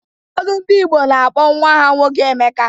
Ụfọdụ ndị Igbo ga-akpọ nnwa ha nwoke Emeka.